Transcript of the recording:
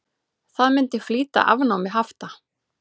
Það myndi flýta afnámi hafta.